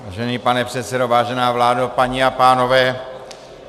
Vážený pane předsedo, vážená vládo, paní a pánové.